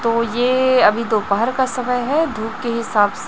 तो ये अभी दोपहर का समय है धूप के हिसाब से--